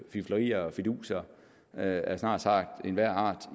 fiflerier og fiduser af snart sagt enhver art